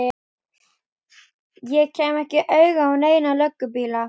Ég kem ekki auga á neina löggubíla.